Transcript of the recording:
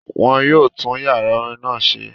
Wọ́n yóò tún yàrá orin náà ṣe